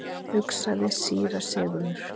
hugsaði síra Sigurður.